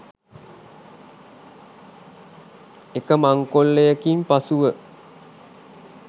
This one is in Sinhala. එක මංකොල්ලයකින් පසුව.